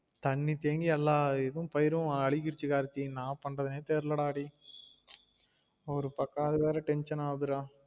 தண்ணி தேங்கி எல்லா இதுவும் பயிறு அலுகிருச்சு கார்த்தி என்னா பண்றதுனே தெரில டா டேயி ஒரு பக்கம் ஆது வேற tension ஆவுதுடா